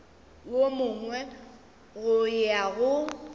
wo mongwe go ya go